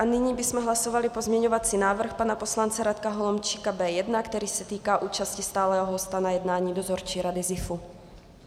A nyní bychom hlasovali pozměňovací návrh pana poslance Radka Holomčíka B1, který se týká účasti stálého hosta na jednání Dozorčí rady ZIFu.